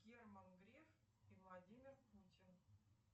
герман греф и владимир путин